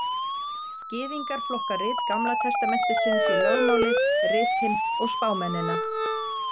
Gyðingar flokka rit Gamla testamentisins í lögmálið, ritin og spámennina.